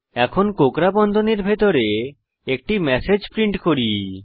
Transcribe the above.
এখন কোঁকড়া বন্ধনীর ভিতরে একটি ম্যাসেজ প্রিন্ট করি